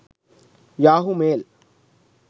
yahoo mail